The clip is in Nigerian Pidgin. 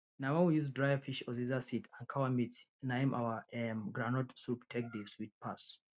na wen we use dry fish uziza seed and cow meat na im our um groundnut soup take dey sweet pass